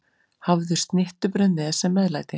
Hafðu snittubrauð með sem meðlæti.